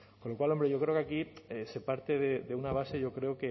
con lo cual hombre yo creo que aquí se parte de una base yo creo